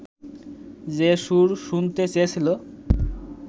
যে-সুর শুনতে চেয়েছিলো